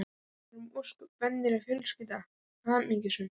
Við vorum ósköp venjuleg fjölskylda, hamingjusöm.